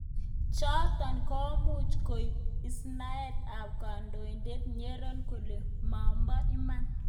chotok komuch kobun istaet ab kandoindet ngenyor kele mabo iman.